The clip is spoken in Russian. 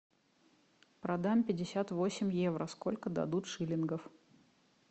продам пятьдесят восемь евро сколько дадут шиллингов